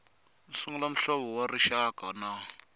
sungula muhlovo wa rixaka na